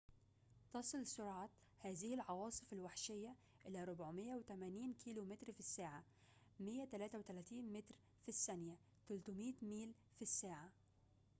تصل سرعة هذه العواصف الوحشية إلى 480 كم/ساعة 133 م/ث؛ 300 ميل/س